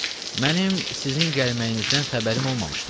Mənim sizin gəlməyinizdən xəbərim olmamışdı.